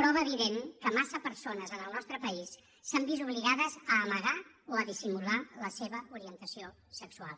prova evident que massa persones en el nostre país s’han vist obligades a amagar o a dissimular la seva orientació sexual